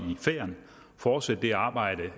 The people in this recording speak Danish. fortsætte det arbejde